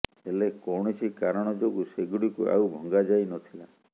ହେଲେ କୌଣସି କାରଣ ଯୋଗୁଁ ସେଗୁଡିକୁ ଆଉ ଭଙ୍ଗାଯାଇ ନଥିଲା